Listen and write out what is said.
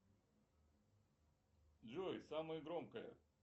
джой самое громкое